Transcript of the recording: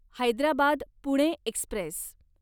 Hyderabad Pune Express